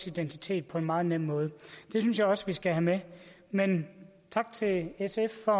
identitet på en meget nem måde det synes jeg også vi skal have med men tak til sf for